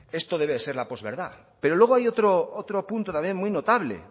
esto debe ser la post verdad pero luego hay otro punto también muy notable